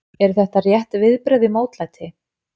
Eru þetta rétt viðbrögð við mótlæti?